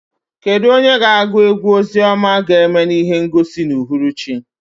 Kedu onye na-agụ egwú ozi ọma ga-eme ihe ngosi n'uhuruchi?